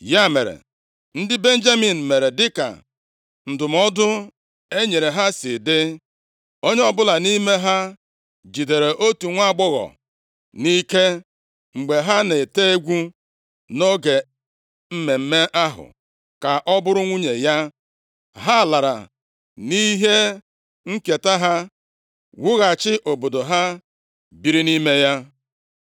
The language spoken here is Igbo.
Ya mere, ndị Benjamin mere dịka ndụmọdụ e nyere ha si dị. Onye ọbụla nʼime ha jidere otu nwaagbọghọ nʼike mgbe ha na-ete egwu nʼoge mmemme ahụ ka ọ bụrụ nwunye ya. Ha lara nʼihe nketa ha, wughachi obodo ha, biri nʼime ya.